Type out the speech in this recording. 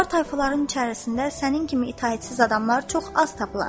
Kübar tayfaların içərisində sənin kimi itaətsiz adamlar çox az tapılır.